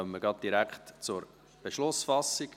Damit kommen wir direkt zur Beschlussfassung.